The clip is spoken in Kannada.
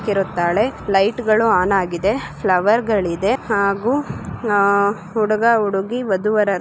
ಇರುತ್ತಾಳೆ ಲೈಟ ಗಳು ಆನ್ ಆಗಿದೆ ಫ್ಲವರ್ಗ ಳಿದೆ ಹಾಗು ಅಹ್‌ ಹುಡುಗ ಹುಡುಗಿ ಓದುವರರು --